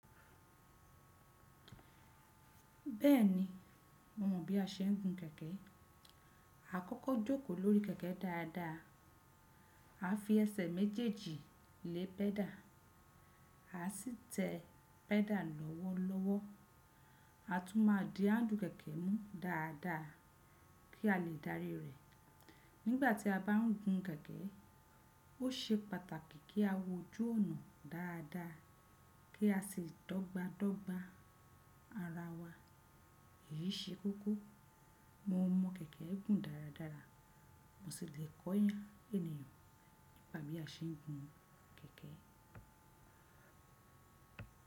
Bẹ́ẹ̀ni, mo mọ̀ bí a ṣe ń gun kẹ̀kẹ́. A kọ́kọ́ jókòó lórí kẹ̀kẹ́ dáadáa, a fi ẹsẹ̀ méjèèjì lé pẹ́dà, a sì tẹ pẹ́dà lọ́wọ́lọ́wọ́. A tún máa di áàndù kẹ̀kẹ́ mú dáadáa kí a lè dárí rẹ̀. Nígbà tí a bá ń gun kẹ̀kẹ́, ó ṣe pàtàkì kí a wojú ọ̀nà dáadáa kí a sì dọ́gba dọ́gba ara wa. Èyí ṣe kókó. Mo mọ kẹ̀kẹ́ gùn dáradára, mo sì lè kọ́ ènìyàn bí a ṣe ń gun kẹ̀kẹ́.